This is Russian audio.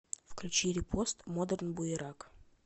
включи репост модерн буерак